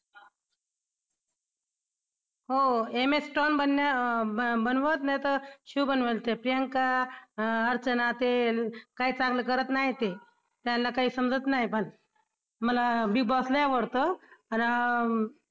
हो MS बनवत नाही तर शिव बनवेल ते प्रियांका, अं अर्चना ते काय चांगलं करत नाही ते त्यांना काही समजत नाही पण मला Big Boss लई आवडतं खरं